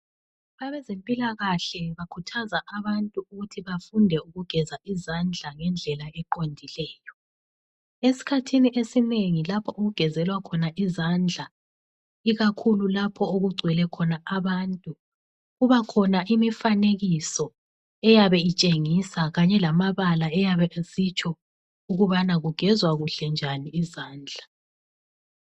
Abezempilakahle bakhuthaza abantu ukuthi bafunde ukugeza izandla ngendlela eqondileyo. Eskhathini esinengi lapho okugezelwa khona izandla ikakhulu lapho okugcwele khona abantu. Kuba khona imifanekiso eyabe itshengisa kanye lamabala ayabe esitsho ukubana kugezwa kuhle njani izandla.